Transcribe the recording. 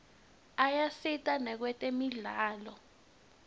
ayasita nakwetemidlalo